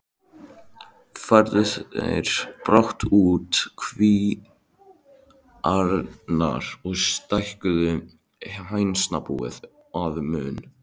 Færðu þeir brátt út kvíarnar og stækkuðu hænsnabúið að mun.